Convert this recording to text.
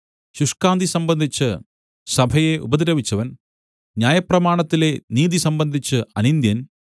ശുഷ്കാന്തി സംബന്ധിച്ച് സഭയെ ഉപദ്രവിച്ചവൻ ന്യായപ്രമാണത്തിലെ നീതി സംബന്ധിച്ച് അനിന്ദ്യൻ